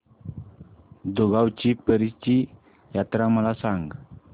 दुगावची पीराची यात्रा मला सांग